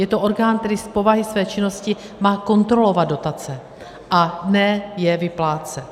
Je to orgán, který z povahy své činnosti má kontrolovat dotace, a ne je vyplácet.